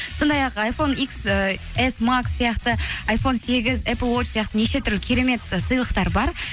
сондай ақ айфон икс ііі эс макс сияқты айфон сегіз эпл уоч сияқты неше түрлі керемет сыйлықтар бар